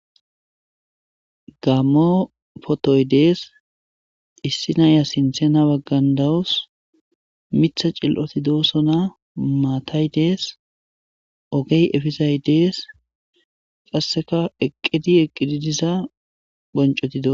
Gammo photoyi dessi issi ayiya ha bagani dawusu, mithati dossona, mattayi desi, oggeyi dessi qassika eqiddi mitha bonicoti dosona